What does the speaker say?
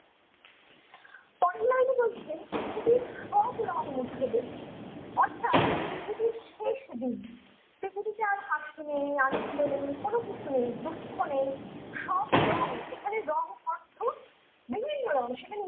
কল্লাইনি বলছেন পৃথিবীর সব রং মুছে দেয় অর্থ্যাৎ পৃথিবীর শেষ দিন পৃথিবীতে আর হাসি নেই আনন্দ নেই কোনো কিছু নেই দুঃখ নেই সব রঙ এখানে রং অর্থ বিভিন্ন রঙ সেখানে